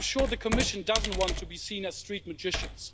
I'm sure the Commission doesn't want to be seen a street magicians.